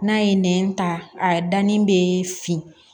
N'a ye nɛn ta a dannin bɛ fin